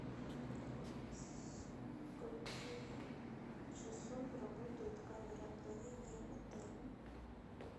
со скольких часов работает камера хранения в отеле